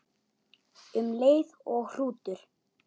Um leið og hrútur